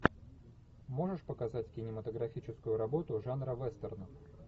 можешь показать кинематографическую работу жанра вестерн